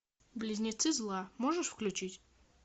близнецы зла можешь включить